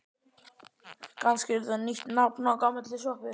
Kannski er þetta nýtt nafn á gamalli sjoppu?